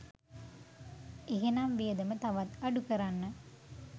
එහෙනම් වියදම තවත් අඩු කරන්න